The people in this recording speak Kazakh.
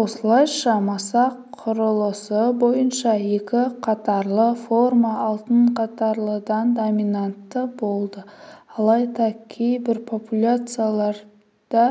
осылайша масақ құрылысы бойынша екі қатарлы форма алты қатарлыдан доминантты болды алайда кейбір популяцияларда